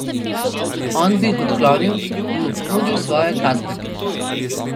On bi jih odklonil in mu ponudil svoje Kazbek.